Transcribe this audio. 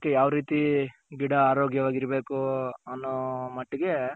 ಯಾವ್ ರೀತಿ ಗಿಡ ಆರೋಗ್ಯವಾಗಿರಬೇಕು ಅನ್ನೋ ಮಟ್ಟಿಗೆ.